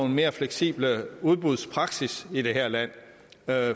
en mere fleksibel udbudspraksis i det her land